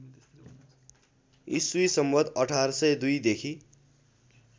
ई सं १८०२ देखि